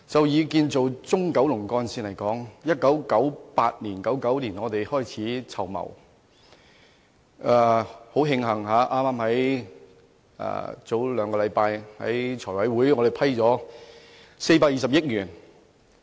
以建造中九龍幹線為例，由1998年、1999年開始籌謀，很慶幸，剛在兩星期前的財務委員會會議上獲撥款420億元。